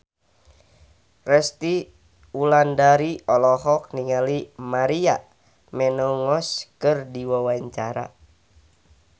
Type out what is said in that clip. Resty Wulandari olohok ningali Maria Menounos keur diwawancara